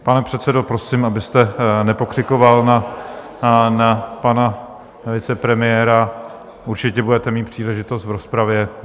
Pane předsedo, prosím, abyste nepokřikoval na pana vicepremiéra, určitě budete mít příležitost v rozpravě.